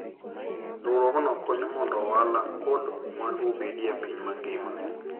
Riwruogno konyo mondo ohala kod mwandu obedie e piny mangima.